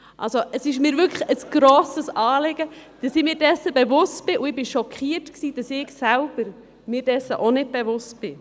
Es ist mir wirklich ein grosses Anliegen, dass ich mir dessen bewusst bin, und ich war schockiert, dass auch ich mir dessen nicht bewusst war.